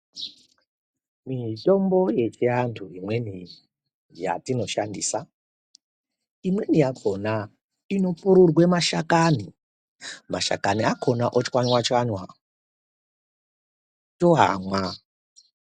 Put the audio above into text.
Mitombo yechiantu imweni yacho yatinoshandisa imweni yakona inopururwa mashakani, mashakani akona ochwanya chwanya toamwa.